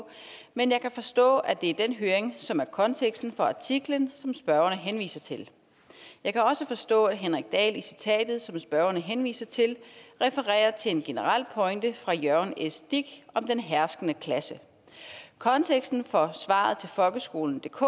men jeg kan forstå at det er den høring som er konteksten for artiklen som spørgeren henviser til jeg kan også forstå at henrik dahl i citatet som spørgeren henviser til refererer til en generel pointe fra jørgen s dich om den herskende klasse konteksten for svaret til folkeskolendk